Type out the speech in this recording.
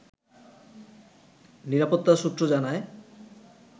নিরাপত্তা সূত্র জানায়